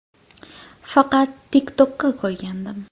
Faqat TikTok’ka qo‘ygandim.